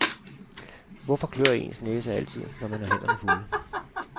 Hvorfor klør ens næse altid, når man har hænderne fulde?